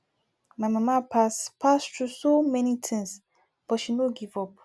my mama pass pass through so many things but she no give up